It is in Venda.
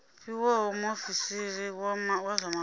fhiwaho muofisiri wa zwa mafhungo